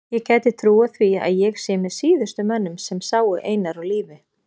Ég gæti trúað því að ég sé með síðustu mönnum sem sáu Einar á lífi.